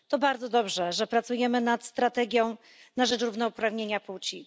To bardzo dobrze, że pracujemy nad strategią na rzecz równouprawnienia płci.